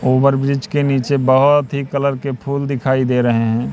Over bridge के नीचे बहोत ही कलर के फूल दिखाई दे रहे हैं।